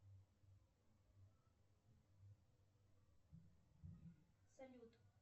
салют